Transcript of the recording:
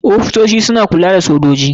Ofisosi suna kulla da sojoji.